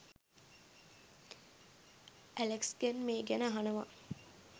ඇලෙක්ස්ගෙන් මේ ගැන අහනවා.